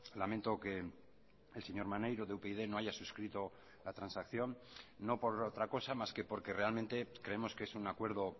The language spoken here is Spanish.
lamento que el señor maneiro de upyd no haya suscrito la transacción no por otra cosa más que porque realmente creemos que es un acuerdo